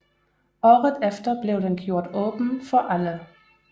Året efter blev den gjort åben for alle